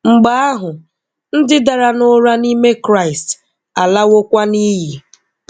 Mgbe ahụ, ndị dara nụra nime Kraịst alawokwa niyi.